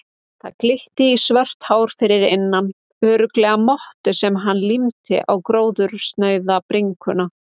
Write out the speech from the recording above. Það glitti í svört hár fyrir innan, örugglega mottu sem hann límdi á gróðursnauða bringuna.